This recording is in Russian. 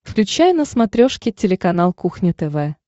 включай на смотрешке телеканал кухня тв